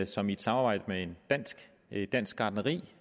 som i et samarbejde med et dansk gartneri